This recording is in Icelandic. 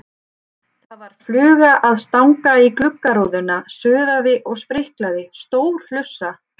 Það var fluga að stanga í gluggarúðuna, suðaði og spriklaði, stór hlussa.